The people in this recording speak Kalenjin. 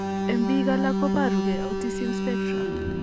En biik alak koboru gee autism spectrum